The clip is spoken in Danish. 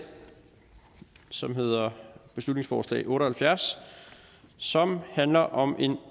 som hedder beslutningsforslag otte og halvfjerds som handler om en